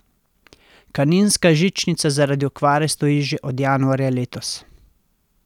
Kaninska žičnica zaradi okvare stoji že od januarja letos.